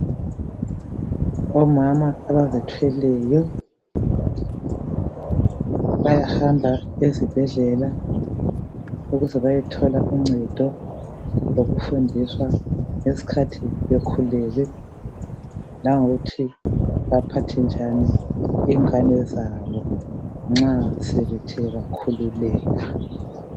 Omama abazithweleyo bayahamba ezibhedlela ukuze bayethola uncedo ngokufundiswa ngesikhathi bekhulelwe langokuthi baphathe njani ingane zabo nxa sebethe bakhululeka.